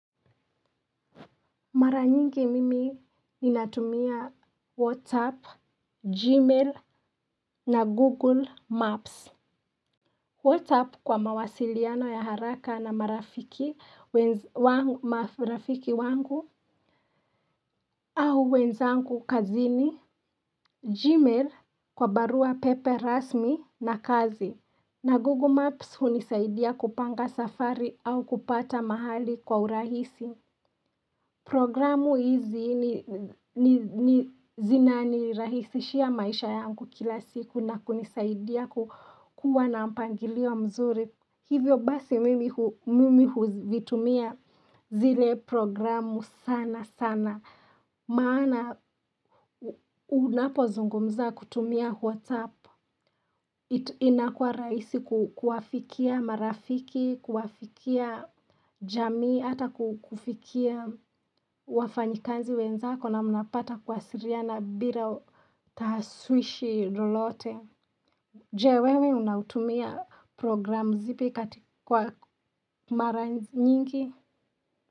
Mara nyingi mimi ninatumia WhatsApp, Gmail na Google Maps. WhatsApp kwa mawasiliano ya haraka na marafiki wangu au wenzangu kazini. Gmail kwa barua pepe rasmi na kazi. Na Google Maps hunisaidia kupanga safari au kupata mahali kwa urahisi. Programu hizi ni zinanirahisishia maisha yangu kila siku na kunisaidia kukua na mpangilio mzuri. Hivyo basi mimi huvitumia zile programu sana sana. Maana unapozungumza kutumia whatsapp. Ito inakua raisi ku kuwafikia marafiki, kuwafikia jamii, hata ku kufikia wafanyikazi wenzako na mnapata kuwasiriana bila tahaswishi lolote. Je wewe unautumia programu zipi katika kwa mara nyingi?